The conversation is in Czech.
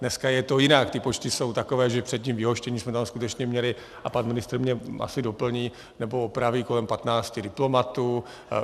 Dneska je to jinak, ty počty jsou takové, že před vyhoštěním jsme tam skutečně měli, a pan ministr mě asi doplní nebo opraví, kolem 15 diplomatů.